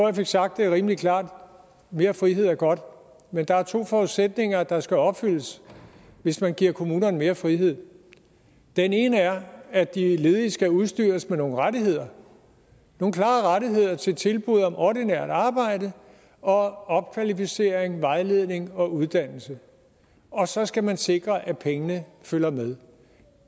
jeg fik sagt det rimelig klart mere frihed er godt men der er to forudsætninger der skal opfyldes hvis man giver kommunerne mere frihed den ene er at de ledige skal udstyres med nogle rettigheder nogle klare rettigheder til tilbud om ordinært arbejde og opkvalificering vejledning og uddannelse og så skal man sikre at pengene følger med i